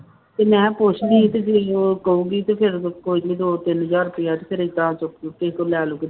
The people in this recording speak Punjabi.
ਤੇ ਮੈਂ ਪੁੱਛਦੀ ਤੇ ਫਿਰ ਉਹ ਕਹੂਗੀ ਤੇ ਫਿਰ ਕੋਈ ਨੀ ਦੋ ਤਿੰਨ ਹਜ਼ਾਰ ਰੁਪਇਆ ਤੇ ਫਿਰ ਏਦਾਂ ਚੁੱਕ ਚੁੱਕ ਕੇ ਲੈ ਲੂ ਕੇ